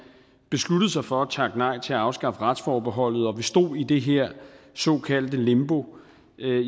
besluttede sig for at takke nej til at afskaffe retsforbeholdet og vi stod i det her såkaldte limbo